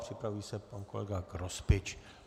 Připraví se pan kolega Grospič.